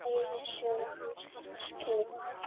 Ævisögu hans þarf að skrifa.